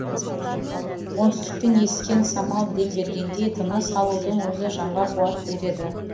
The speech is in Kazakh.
оңтүстіктен ескен самал дем бергендей тыныс алудың өзі жанға қуат береді